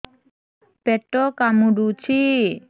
ପେଟ କାମୁଡୁଛି